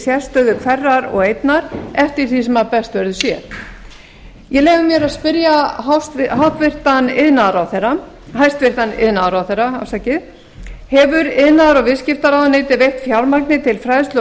sérstöðu hverrar og eignar eftir því sem best verður séð ég leyfi mér að spyrja hæstvirtan iðnaðarráðherra hefur iðnaðar og viðskiptaráðuneytið veitt fjármagni til fræðslu og